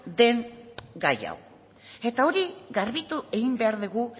den gai hau eta hori garbitu egin behar dugu